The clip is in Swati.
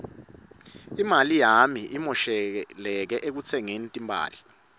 imali yami imoshakele ekutsengeni timphahla